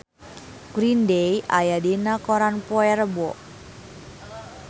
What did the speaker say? Green Day aya dina koran poe Rebo